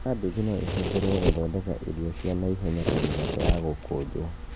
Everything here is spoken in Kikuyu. Kambĩji no ĩhũthĩrwo gũthondeka irio cia naihenya ta mĩgate ya gũkũnjwo